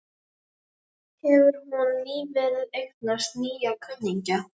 Hefur hún nýverið eignast nýja kunningja?